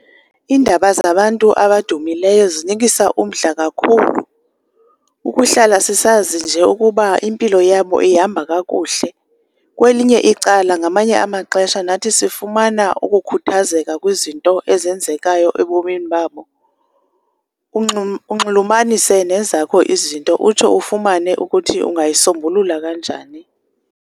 Iindaba zabantu abadumileyo zinikisa umdla kakhulu, ukuhlala sisazi nje ukuba impilo yabo ihamba kakuhle. Kwelinye icala ngamanye amaxesha nathi sifumana ukukhuthazeka kwizinto ezenzekayo ebomini babo, unxulumanise nezakho izinto utsho ufumane ukuthi ungayisombulula kanjani.